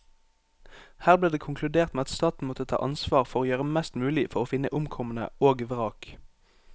Her ble det konkludert med at staten måtte ta ansvar for å gjøre mest mulig for å finne omkomne og vrak.